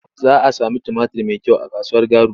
Za a sami tumatur mai kyau a kasuwar Garu.